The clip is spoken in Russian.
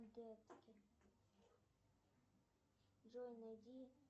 джой найди